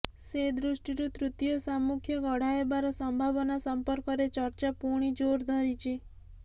ସେଦୃଷ୍ଟିରୁ ତୃତୀୟ ସାମ୍ମୁଖ୍ୟ ଗଢ଼ା ହେବାର ସମ୍ଭାବନା ସମ୍ପର୍କରେ ଚର୍ଚ୍ଚା ପୁଣି ଜୋର ଧରିଛି